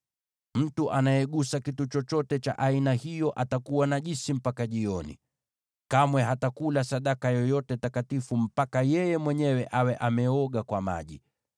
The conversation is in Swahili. Mtu anayegusa kitu chochote cha aina hiyo atakuwa najisi mpaka jioni. Kamwe hatakula sadaka yoyote takatifu mpaka yeye mwenyewe awe ameoga kwa maji.